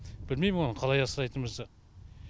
білмеймін оны қалай асырайтынымызды